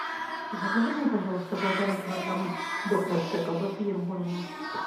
закажи мне пожалуйста полтора килограмма докторской колбасы ермолино